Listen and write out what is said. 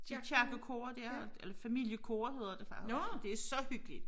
Kirkekoret dér eller familiekoret hedder det faktisk det så hyggeligt